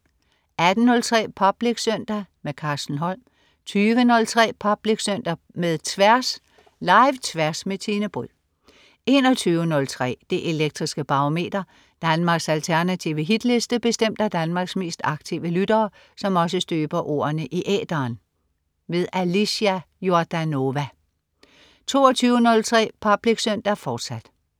18.03 Public Søndag. Carsten Holm 20.03 Public Søndag med Tværs. Live-Tværs med Tine Bryld 21.03 Det elektriske Barometer. Danmarks alternative hitliste bestemt af Danmarks mest aktive lyttere, som også støber ordene i æteren. Alicia Jordanova 22.03 Public Søndag, fortsat